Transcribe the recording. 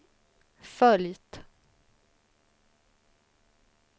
följt